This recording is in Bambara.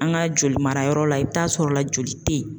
An ka joli marayɔrɔ la i bɛ t'a sɔrɔ la joli tɛ ye.